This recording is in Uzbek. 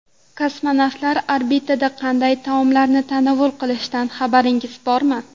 Kosmonavtlar orbitada qanday taomlarni tanovul qilishidan xabaringiz bormi?